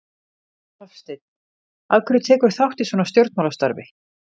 Hafsteinn: Af hverju tekurðu þátt í svona stjórnmálastarfi?